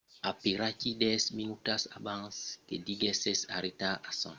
aperaquí dètz minutas abans que deguèsse aterrar a son segond apròchi desapareguèt